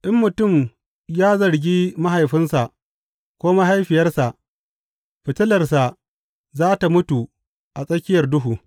In mutum ya zargi mahaifinsa ko mahaifiyarsa, fitilarsa za tă mutu a tsakiyar duhu.